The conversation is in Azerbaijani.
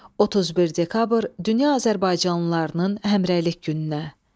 31 dekabr dünya azərbaycanlılarının həmrəylik gününə.